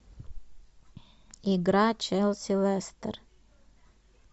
игра челси лестер